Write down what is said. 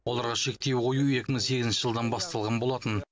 оларға шектеу қою екі мың сегізінші жылдан басталған болатын